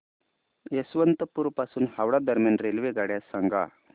यशवंतपुर पासून हावडा दरम्यान रेल्वेगाड्या सांगा